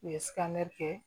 U ye kɛ